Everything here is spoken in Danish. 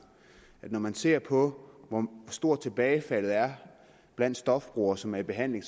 at når man ser på hvor stort tilbagefaldet er blandt stofbrugere som er i behandling